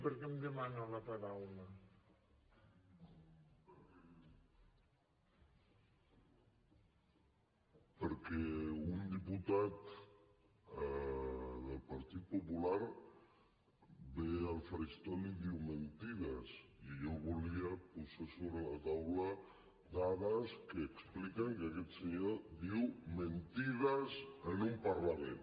perquè un diputat del partit popular ve al faristol i diu mentides i jo volia posar sobre la taula dades que expliquen que aquest senyor diu mentides en un parlament